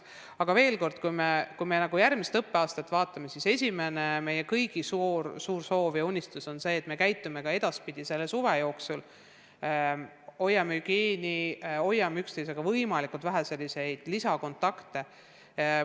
Aga veel kord: mis puutub järgmisse õppeaastasse, siis meie kõigi suur soov ja unistus on see, et me käitume selle suve jooksul targalt, täidame hügieenireegleid, püüame luua võimalikult vähe lisakontakte.